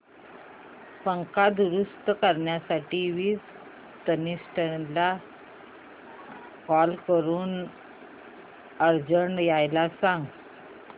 पंखा दुरुस्त करण्यासाठी वीज तंत्रज्ञला कॉल करून अर्जंट यायला सांग